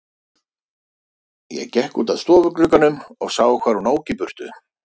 Ég gekk út að stofuglugganum og sá hvar hún ók í burtu.